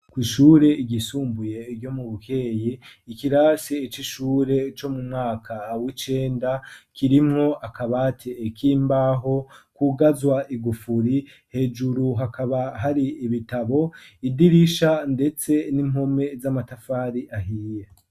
Kw'ishure ryisumbuye ryo mu Bukeye ikirasi c'ishure co mu mwaka w'icenda kirimwo akabati kimbaho kugazwa igufuri hejuru hakaba hari ibitabo idirisha ndetse n'impome z'amatafari ahiye.